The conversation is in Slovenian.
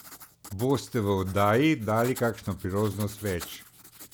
Boste v oddaji dali kakšno priložnost več?